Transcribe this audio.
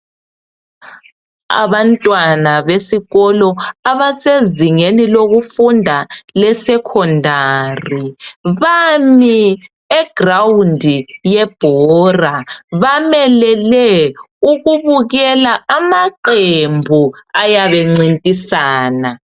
Abantwana besikolo abasezingeni lokufunda le "secondary " bami e "ground " yebhora bamelele ukubona amaqembu ayabe encintisana .